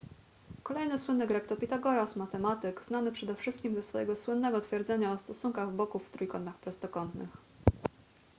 kolejny słynny grek to pitagoras matematyk znany przede wszystkim ze swojego słynnego twierdzenia o stosunkach boków w trójkątach prostokątnych